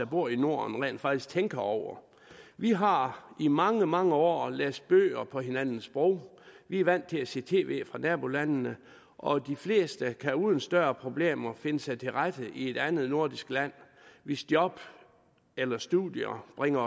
bor i norden rent faktisk tænker over vi har i mange mange år læst bøger på hinandens sprog vi er vant til at se tv fra nabolandene og de fleste kan uden større problemer finde sig tilrette i et andet nordisk land hvis job eller studier bringer